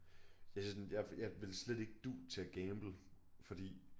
Det sådan jeg jeg ville slet ikke du til at gamble fordi